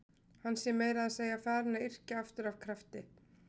Hann sé meira að segja farinn að yrkja aftur af krafti.